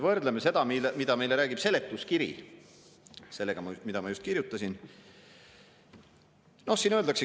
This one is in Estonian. Võrdleme seda, mida meile räägib seletuskiri, sellega, mida ma just.